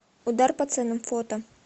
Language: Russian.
удар по ценам фото